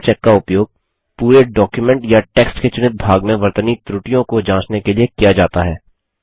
spellcheck का उपयोग पूरे डॉक्युमेंट या टेक्स्ट के चुनित भाग में वर्तनी त्रुटियों को जाँचने के लिए किया जाता है